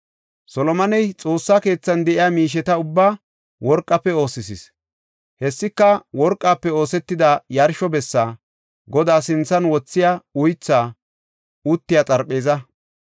Solomoney Xoossa keethan de7iya miisheta ubbaa worqafe oosisis. Hessika worqafe oosetida yarsho bessa, Godaa sinthan wothiya uythay uttiya xarpheeza,